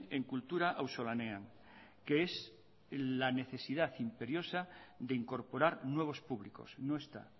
en kultura auzolanean que es la necesidad imperiosa de incorporar nuevos públicos no está